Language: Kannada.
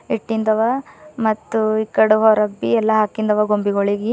ಇಟ್ಟಿಂದವ ಮತ್ ಇಕಡಿ ಹೊರಗ್ ಬಿ ಎಲ್ಲಾ ಅಕಿಂದು ಅವ ಗೊಂಬಿಗುಳಿಗಿ.